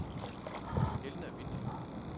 Elna Vinther